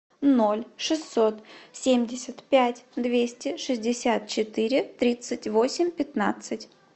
ноль шестьсот семьдесят пять двести шестьдесят четыре тридцать восемь пятнадцать